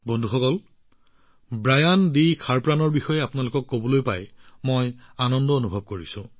বন্ধুসকল Brian D খাৰপ্ৰানৰ কথা কবলৈ পাই মই বৰ আনন্দিত হৈছো